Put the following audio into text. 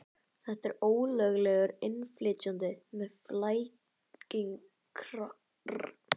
Þetta er ólöglegur innflytjandi með flækingsrakka.